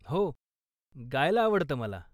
हो, गायला आवडतं मला.